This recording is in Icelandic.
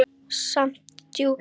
Samt djúp.